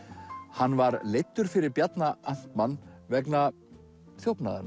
hann var leiddur fyrir Bjarna amtmann vegna